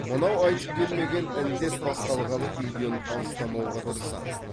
мынау айтып келмеген індет басталғалы үйден алыстамауға тырысамын